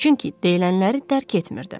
Çünki deyilənləri dərk etmirdi.